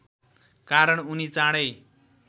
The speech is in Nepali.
कारण उनी चाँडै